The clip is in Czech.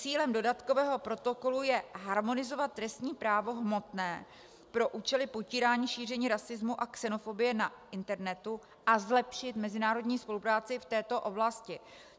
Cílem dodatkového protokolu je harmonizovat trestní právo hmotné pro účely potírání šíření rasismu a xenofobie na internetu a zlepšit mezinárodní spolupráci v této oblasti.